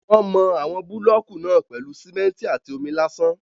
Wọ́n mọ àwọn búlọ̀kù náà pèlú simẹ́ntì àti omi lásán.